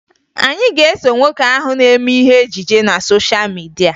Anyị ga-eso nwoke ahụ na-eme ihe ejije na sosha midia